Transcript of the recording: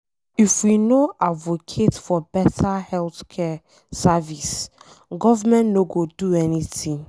If we no advocate for beta healthcare service, government no go do anything.